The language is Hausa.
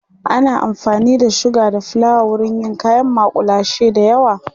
ana amfani da suga da flawa wurin yin kayan makullashe da yawa